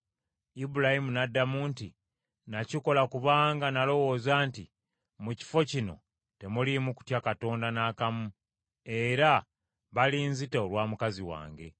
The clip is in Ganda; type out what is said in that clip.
Ibulayimu n’addamu nti, “Nakikola kubanga nalowooza nti mu kifo kino temuliimu kutya Katonda n’akamu, era balinzita olwa mukazi wange.